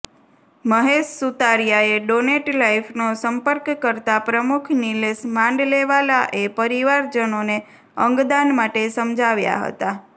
મહેશ સુતરીયાએ ડોનેટ લાઈફનો સંપર્ક કરતા પ્રમુખ નિલેશ માંડલેવાલાએ પરિવારજનોને અંગદાન માટે સમજાવ્યા હતા